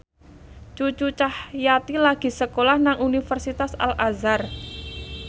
Cucu Cahyati lagi sekolah nang Universitas Al Azhar